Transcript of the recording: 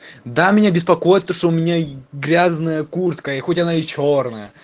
да меня беспокоиться что у меня грязная куртка и хоть она и чёрная